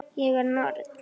Ég er norn.